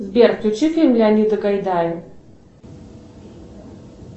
сбер включи фильм леонида гайдая